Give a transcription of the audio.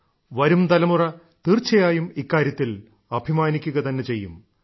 വരും തലമുറ തീർച്ചയായും ഇക്കാര്യത്തിൽ അഭിമാനിക്കുക തന്നെ ചെയ്യും